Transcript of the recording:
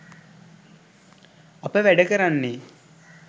අප වැඩ කරන්නේ